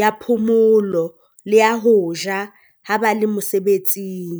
ya phomolo le ya ho ja ha ba le mosebetsing.